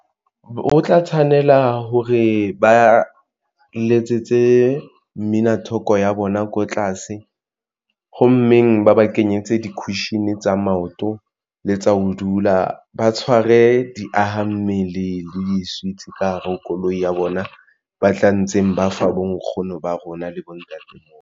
O tla tshwanela hore ba letsetse mmina thoko ya bona ko tlase ho mmeng ba ba kenyetse di-cushion tsa maoto le tsa ho dula ba tshware diaha mmele le di-sweets ka hare ho koloi ya bona. Ba tla ntseng ba fa bo nkgono ba rona le bontate.